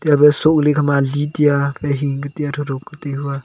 yama sohka li ali tia nai hing ka tia tho tho ka tai hua.